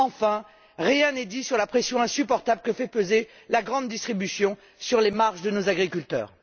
Enfin, rien n'est dit sur la pression insupportable que fait peser la grande distribution sur les marges de nos agriculteurs.